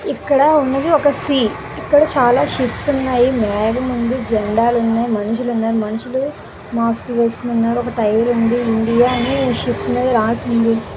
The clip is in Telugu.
ఇక్కడ ఉన్నది ఒక సీ ఇక్కడ చాలా షిప్స్ ఉన్నాయి. మారిన్ ఉంది జండాలు ఉన్నాయి. మనుషులున్నారు.మనుషులు మాస్క్ వేసుకున్నారు. టైర్ ఉంది. ఇండియా అని షిప్ మీద రాసి ఉంది.